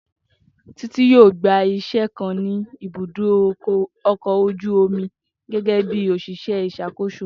Titi yoo gba iṣẹ kan ni ibudo ọkọ̀ ojú omi gẹgẹbi oṣiṣẹ iṣakoso.